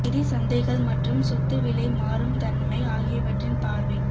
நிதி சந்தைகள் மற்றும் சொத்து விலை மாறும் தன்மை ஆகியவற்றின் பார்வை